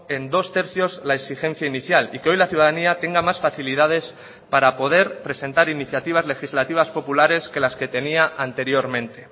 en dos tercios la exigencia inicial y que hoy la ciudadanía tenga más facilidades para poder presentar iniciativas legislativas populares que las que tenía anteriormente